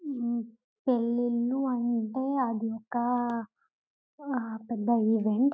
హ్మ్ పెళ్లిళ్లు అంటే అది ఇంకా పెద్ద ఈవెంట్ .